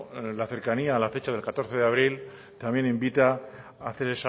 la cercanía a la fecha del catorce de abril también invita a hacer